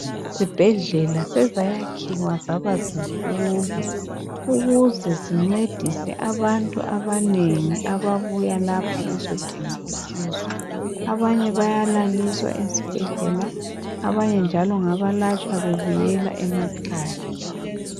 Izibhedlela sezayakhiwa zaba zinkulu ukuze zincedise abantu abanengi ababuya lapha bezodinga usizo .Abanye bayalaliswa ezibhedlela abanye njalo ngaba latshwa bebuyela emakhaya .